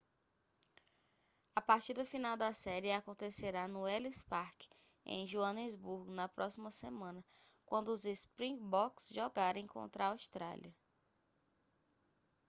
a partida final da série acontecerá no ellis park em joanesburgo na próxima semana quando os springboks jogarem contra a austrália